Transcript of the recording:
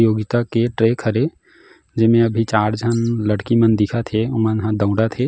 योगिता के ट्रैक हरे जेमें अभी चार झन लड़की मन दिखा थे ओ मन ह दउड़ा थे।